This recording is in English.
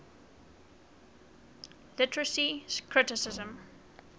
literary criticism